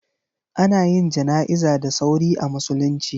Ana yin jana'iza da sauri a musulunci.